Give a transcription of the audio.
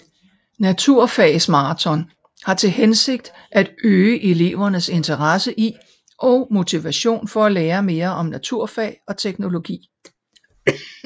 Naturfagsmaraton har til hensigt at øge elevernes interesse i og motivation for at lære mere om naturfag og teknologi